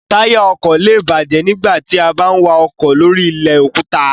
Táyà ọkọ̀ lé è bàjẹ́ nígbà tí a bá ń wa ọkọ̀ lóri ilẹ̀ òkúta